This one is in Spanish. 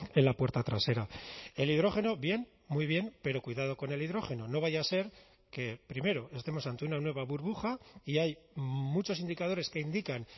en la puerta trasera el hidrógeno bien muy bien pero cuidado con el hidrógeno no vaya a ser que primero estemos ante una nueva burbuja y hay muchos indicadores que indican